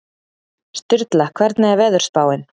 Sturla, hvernig er veðurspáin?